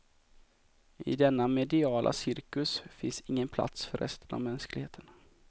I denna mediala cirkus finns ingen plats för resten av mänskligheten.